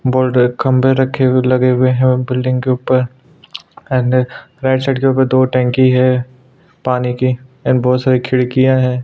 Border खम्बे रखे हुए लगे हुए हैं और बिल्डिंग के ऊपर राईट साइड के ऊपर दो टंकी है पानी की और बहौत सारी खिड़कियाँ हैं।